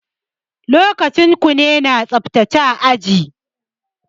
Lokacin kune na tsaftace aji.